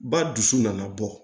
Ba dusu nana bɔ